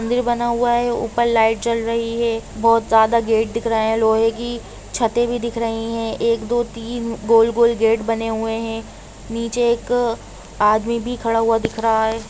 मंदिर बना हुआ है ऊपर लाइट जल रही है बहुत ज्यादा गेट दिख रहा है लोहे की छते भी दिख रही है एक दो तीन गोल गोल बने बने हुए है नीचे एक आदमी भी खड़ा हुआ दिख रहा है।